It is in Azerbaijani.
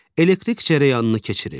Elektrik cərəyanını keçirir.